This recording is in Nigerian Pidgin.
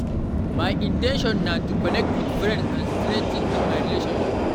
My in ten tion na to connect with friends and strengthen my relationships.